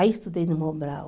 Aí estudei no Mobral.